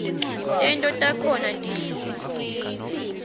tento takhona tihlukule